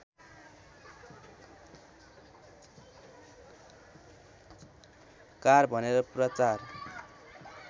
car भनेर प्रचार